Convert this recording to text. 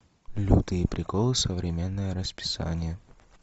лютые приколы современное расписание